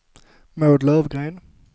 Maud Lövgren